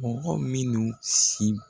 Mɔgɔ minnu si.